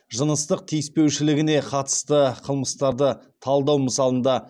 жыныстық тиіспеушілігіне қатысты қылмыстарды талдау мысалында